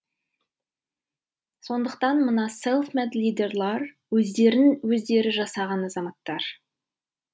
сондықтан мына селф мед лидерлар өздерін өздері жасаған азаматтар